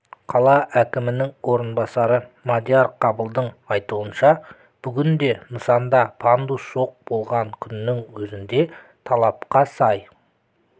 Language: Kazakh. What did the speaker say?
қала әкімінің орынбасары мадияр қабылдың айтуынша бүгінде нысанда пандус жоқ болған күннің өзінде талапқа сай